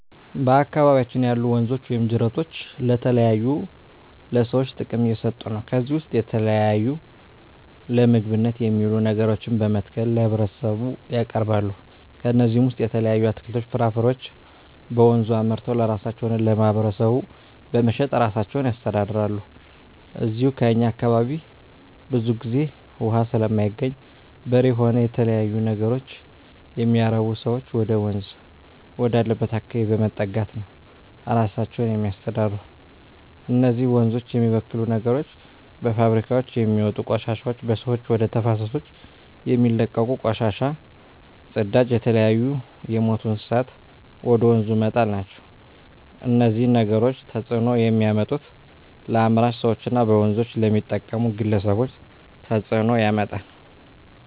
በአካባቢያችን ያሉ ወንዞች ወይም ጅረቶች ለተለያዩ ለሰዎች ጥቅም እየሠጡ ነው ከዚህ ውስጥ የተለያዩ ለምግብነት የሚውሉ ነገሮችን በመትከል ለህብረተሰቡ ያቀርባሉ ከነዚህም ውሰጥ የተለያዩ አትክልቶች ፍራፍሬዎችን በወንዙ አምርተው ለራሳቸው ሆነ ለማህበረሰቡ በመሸጥ እራሳቸውን ያስተዳድራሉ ከዚው ከእኛ አካባቢም ብዙ ግዜ እውሃ ስለማይገኝ በሬ ሆነ የተለያዩ ነገሮች የሚያረቡ ሰዎች ወደወንዝ ወዳለበት አካባቢ በመጠጋት ነው እራሳቸውን የሚያስተዳድሩ እነዚህ ወንዞች የሚበክሉ ነገሮች በፋብሪካውች የሚወጡ ቆሻሾች በሰዎች ወደ ተፋሰሶች የሚለቀቁ ቆሻሻ ጽዳጅ የተለያዩ የምቱ እንስሳትን ወደ ወንዙ መጣል ናቸው እነዚህ ነገሮች ተጽዕኖ የሚያመጡት ለአምራች ሰዎች እና በወንዞች ለሚጠቀሙ ግለሰቦች ተጽእኖ ያመጣል